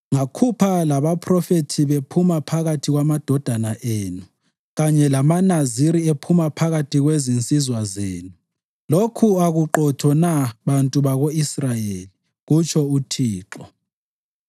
Ngakhupha labaphrofethi bephuma phakathi kwamadodana enu, kanye lamaNaziri ephuma phakathi kwezinsizwa zenu. Lokhu akuqotho na, bantu bako-Israyeli?” kutsho uThixo.